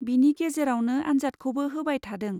बिनि गेजेरावनो आन्जादखौबो होबाय थादों।